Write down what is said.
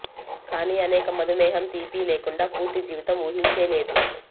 కానీ అనేక మధుమేహం తీపి లేకుండా పూర్తి జీవితం ఊహించే లేదు